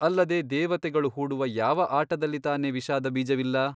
ಅಲ್ಲದೆ ದೇವತೆಗಳು ಹೂಡುವ ಯಾವ ಆಟದಲ್ಲಿ ತಾನೇ ವಿಷಾದಬೀಜವಿಲ್ಲ ?